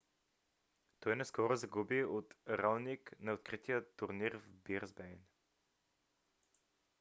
той наскоро загуби от раоник на открития турнир в бризбейн